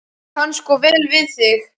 Ég kann svo vel við þig.